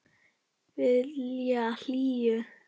Vilja hlýju.